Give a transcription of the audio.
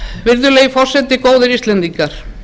virðulegi forseti góðir íslendingar